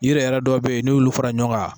Yiri yɛrɛ dɔw be yenn'i y'olu fara ɲɔgɔn kan